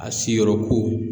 A siyɔrɔ ko.